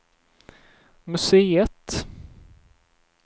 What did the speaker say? museet